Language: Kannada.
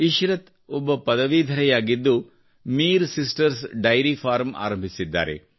ಇಶ್ರತ್ ಒಬ್ಬ ಪದವೀಧರರಾಗಿದ್ದು ಮಿರ್ ಸಿಸ್ಟರ್ಸ್ ಡೈರಿ ಫಾರ್ಮ್ ಆರಂಭಿಸಿದ್ದಾರೆ